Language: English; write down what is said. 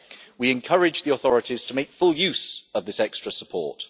We encourage the authorities to make full use of this extra support.